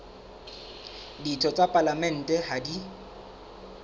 ditho tsa palamente ha di